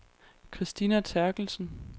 Kristina Therkelsen